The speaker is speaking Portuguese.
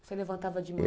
Você levantava de manhã?